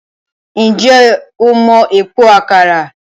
Ǹjẹ́ o mọ Epo Àkàrà?